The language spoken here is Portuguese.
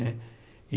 Né e